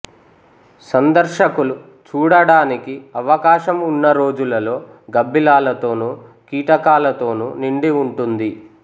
సందర్శకులు చూడడానికి అవకాశం ఉన్న రోజులలో గబ్బిలాలతోను కీటకాలతోను నిండి ఉంటుంది